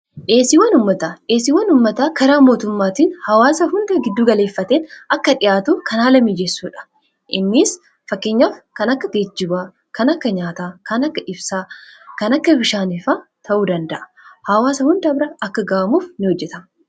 Dhiyeesiiwwan ummataa karaa mootummaatiin hawaasa hunda gidduu galeeffateen akka dhi'aatu kan haala miijessuudha. innis fakkeenyaf kan akka geejjibawaan kan akka nyaataa ibsaa kan akka bishaanii ta'uu danda'a . hawaasa hunda bira akka ga'amuuf in hojjeta.